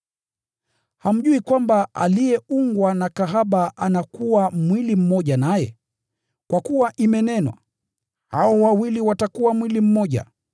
Hamjui kwamba aliyeungwa na kahaba anakuwa mwili mmoja naye? Kwa kuwa imenenwa, “Hao wawili watakuwa mwili mmoja.”